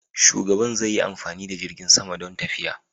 Shugaban zai yi amfani da jirgin sama don tafiya.